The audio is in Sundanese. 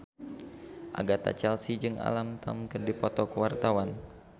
Agatha Chelsea jeung Alam Tam keur dipoto ku wartawan